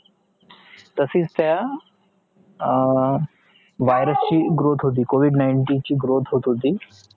तशीच त्या हा virus growth होती covid nineteen growth होत होती